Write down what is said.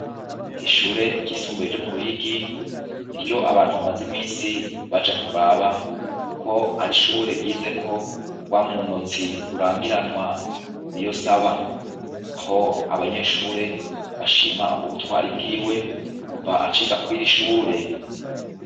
Ishure ryisumbuye ryo mu Ruyigi, ni ryo abantu bamaze iminsi baja kuraba, kuko ari ishure ryize ko wamunonotsi rurangiranwa Niyonsab. Aho abanyeshure bashima ubutwari bw'iwe kuva aciga kwir'ishure.